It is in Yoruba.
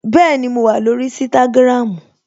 Bẹẹni, mo wà lórí Instagram